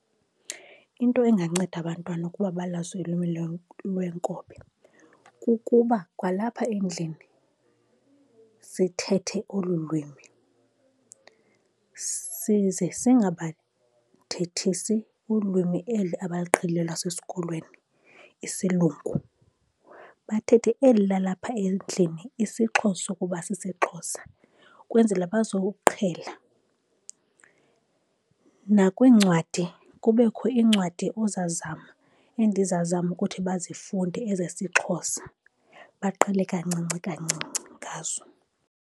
Into enganceda abantwana ukuba balazi ulwimi lwenkobe kukuba kwalapha endlini sithethe olu lwimi, size singabathethisi ulwimi eli abaluqhelileyo lwasesikolweni, isilungu, bathethe eli lalapha endlini, isiXhosa ukuba sisiXhosa, ukwenzela bazowuqhela. Nakwiincwadi kubekho iincwadi ozazama, endizazama ukuthi bazifunde ezesiXhosa, baqhele kancinci kancinci ngazo.